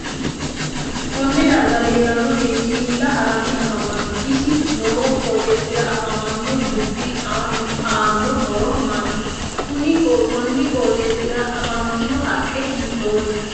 Konne darga leelano beeti hiila haranni afamanno isi noo qooxeesira afamanno dubbi aanno horo maati kuni qooxeesira afantanno haqqe hiitoote